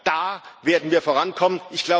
Da werden wir vorankommen.